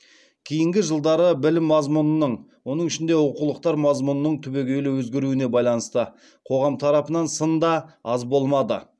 кейінгі жылдары білім мазмұнының оның ішінде оқулықтар мазмұнының түбегейлі өзгеруіне байланысты қоғам тарапынан сын да аз болмады